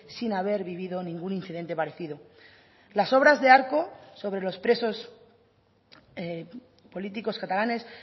sin haber vivido ningún incidente parecido las obras de arco sobre los presos políticos catalanes